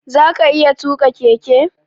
Zaka iya tuƙa keke?